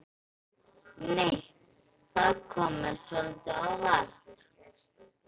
Nei! Það kom mér svolítið á óvart!